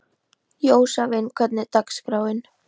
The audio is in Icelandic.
Jósavin, hvernig er dagskráin?